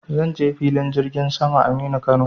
Zan je filin jirgin saman Aminu Kano.